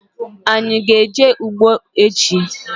Anyị aga eje ụgbọ echi?